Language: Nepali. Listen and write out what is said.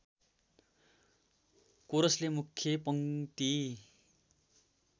कोरसले मुख्य पङ्क्ति